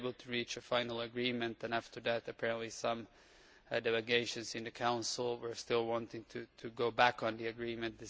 We were able to reach a final agreement, and after that apparently some of the delegations in the Council still wanted to go back on the agreement.